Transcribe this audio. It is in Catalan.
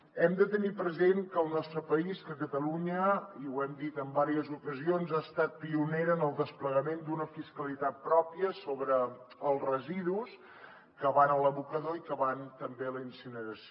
hem de tenir present que el nostre país catalunya i ho hem dit en diverses ocasions ha estat pionera en el desplegament d’una fiscalitat pròpia sobre els residus que van a l’abocador i que van també a la incineració